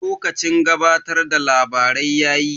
Lokacin gabatar da labarai yayi.